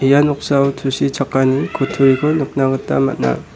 ia noksao tusichakani kutturiko nikna gita man·a.